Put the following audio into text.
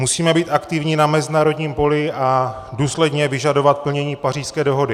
Musíme být aktivní na mezinárodním poli a důsledně vyžadovat plnění Pařížské dohody.